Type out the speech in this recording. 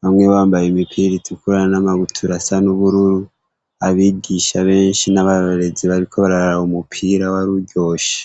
bamwe bambaye imipira itukura n’amabutura asa n’ubururu, abigisha benshi n’abarorerezi bariko bararaba umupira waruryoshe.